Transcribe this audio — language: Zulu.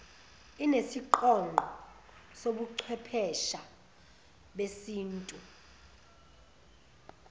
nesiqonqo sobuchwephesha besintu